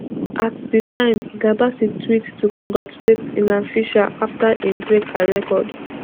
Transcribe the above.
at di time hilda baci tweet to congratulate alan fisher afta im break her record